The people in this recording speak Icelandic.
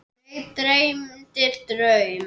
Mig dreymdi draum.